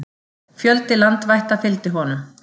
Fjöldi landvætta fylgdi honum.